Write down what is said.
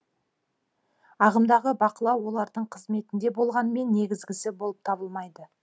ағымдағы бақылау олардың қызметінде болғанымен негізгісі болып табылмайды